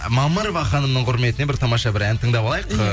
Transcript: мамырова ханымның құрметіне бір тамаша бір ән тыңдап алайық ы